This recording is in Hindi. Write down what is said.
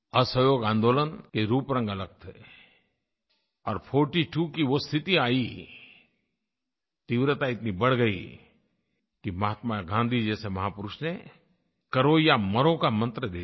असहयोग आन्दोलन के रूपरंग अलग थे और 42 की वो स्थिति आई तीव्रता इतनी बढ़ गई कि महात्मा गाँधी जैसे महापुरुष ने करो या मरो का मंत्र दे दिया